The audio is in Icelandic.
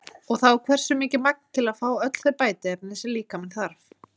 Og þá hversu mikið magn til að fá öll þau bætiefni sem líkaminn þarf?